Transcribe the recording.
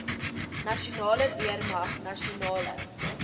nasionale weermag nasionale